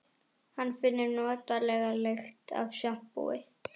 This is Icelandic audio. Hann finnur notalega lykt af sjampói.